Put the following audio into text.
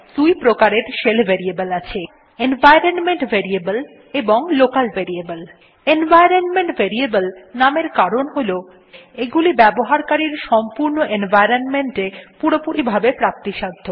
দুই প্রকারের shell variable আছে এনভাইরনমেন্ট ভ্যারিয়েবলস এবং লোকাল ভ্যারিয়েবলস এনভাইরনমেন্ট ভেরিয়েবল নামের কারণ হল এগুলি ব্যবহারকারীর সম্পূর্ণ এনভাইরনমেন্ট এ পুরোপুরি ভাবে প্রাপ্তিসাধ্য